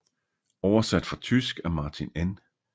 Oversat fra tysk af Martin N